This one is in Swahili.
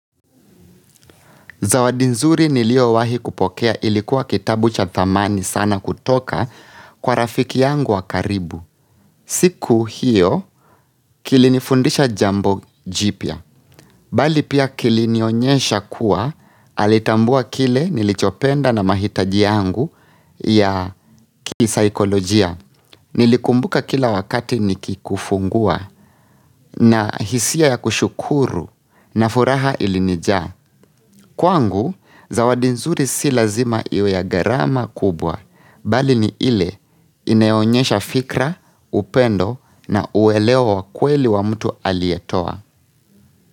Zawadi nzuri niliyowahi kupokea ilikuwa kitabu cha dhamani sana kutoka kwa rafiki yangu wa karibu. Siku hiyo kilinifundisha jambo jipya. Bali pia kilinionyesha kuwa alitambua kile nilichopenda na mahitaji yangu ya kisaikolojia. Nilikumbuka kila wakati nikikufungua na hisia ya kushukuru na furaha ilinija. Kwangu, zawadi nzuri si lazima iwe ya gharama kubwa, bali ni ile inayoonyesha fikira, upendo na uweleo wa kweli wa mtu aliyetoa.